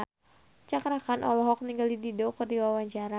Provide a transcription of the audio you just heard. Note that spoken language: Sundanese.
Cakra Khan olohok ningali Dido keur diwawancara